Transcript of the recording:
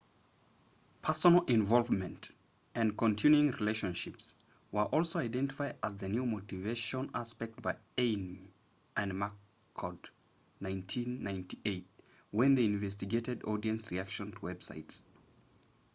personal involvement” and continuing relationships” were also identified as new motivation aspects by eighmey and mccord 1998 when they investigated audience reactions to websites